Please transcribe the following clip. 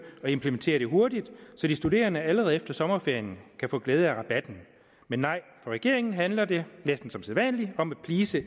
og implementere det hurtigt så de studerende allerede efter sommerferien kan få glæde af rabatten men nej for regeringen handler det næsten som sædvanlig om at please